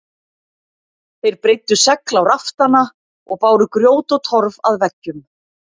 Þeir breiddu segl á raftana og báru grjót og torf að veggjum.